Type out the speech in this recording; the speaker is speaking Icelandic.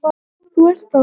Þú ert þá?